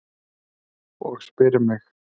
Og spyr mig: